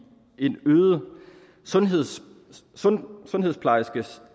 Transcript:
en øget sundhedsplejerskeindsats